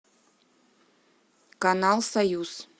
канал союз